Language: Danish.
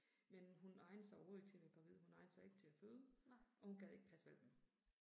Men hun egnede sig overhovedet ikke til at være gravid, hun egnede sig ikke til at føde, og hun gad ikke passe hvalpene